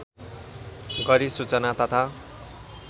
गरी सूचना तथा